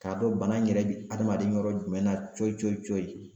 K'a dɔn bana in yɛrɛ bɛ adamaden yɔrɔ jumɛn na cɔyi cɔyi cɔyi